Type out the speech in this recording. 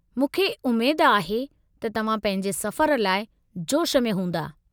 मूंखे उमेद आहे त तव्हां पंहिंजे सफ़र लाइ जोश में हूंदा।